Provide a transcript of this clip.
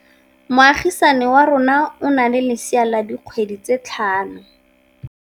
Moagisane wa rona o na le lesea la dikgwedi tse tlhano.